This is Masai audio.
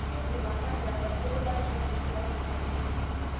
Kake indim atanya atayiolo batisho entoki tiatua enkaji ino.